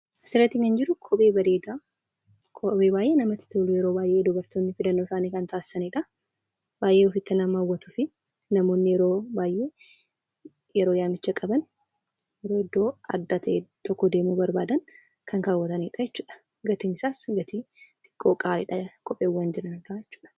As irratti kan jiruu, kophee bareeda kophee baay'ee namatti tolu yeroo baay'ee dubartooni filannoo isaani kan tasisanidha. Baay'ee ofti nama hawaatufi namooni yeroo baay'ee, yeroo yaamichaa qabaan, idoo adda ta'e tokko demuu barbadaan kan kawaatanidha jechuudha. Gatiin isaas xiqqoo qaaliidha. Kopheewwan jiraan irra.